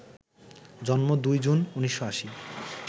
জন্ম ২ জুন, ১৯৮০